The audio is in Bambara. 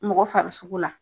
Mɔgɔ farisogo la.